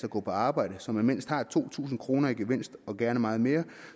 at gå på arbejde så man mindst har to tusind kroner i gevinst og gerne meget mere